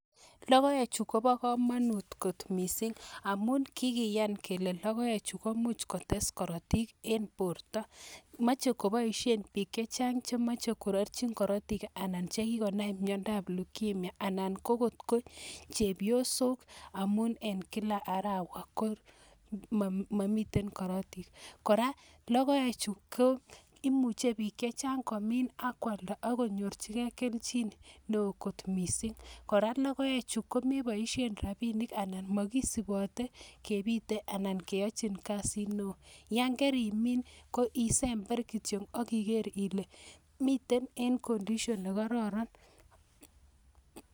Logoechu koba kamanut kot missing amu kikiyan kele logoek chu ko much kotes korotik eng borto. Mochei koboishe bik che chang che mochei kongering korotik anan che kikonam miendab lugemia ana ko chepyosok amun eng kila arawa ko mamiten korotik. Kora logoechu ko imuchen bik chechang komin ak kwalda akonyorjigei keljin neo missing. Kora logoechu ko meboishe rabbiinik anan makisubote kebite anan keyojin kazit neo yan karimin koisember kityo ak iker ile mitei eng condition[cs[ ne kararan.